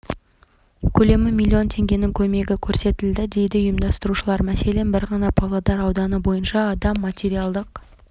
көлемі миллион теңгенің көмегі көрсетілді дейді ұйымдастырушылар мәселен бір ғана павлодар ауданы бойынша адам материалдық